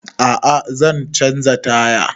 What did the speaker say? A'a zan canza taya